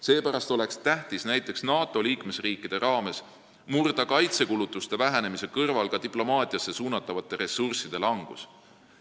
Seepärast oleks tähtis näiteks NATO liikmesriikides murda kaitsekulutuste vähenemise kõrval ka diplomaatiasse suunatavate ressursside langus.